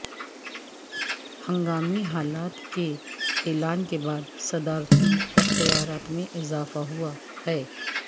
ہنگامی حالت کے اعلان کے بعد صدارتی اختیارات میں اضافہ ہوا ہے